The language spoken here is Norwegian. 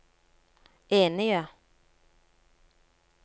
enige